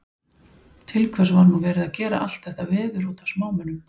Til hvers var nú verið að gera allt þetta veður út af smámunum?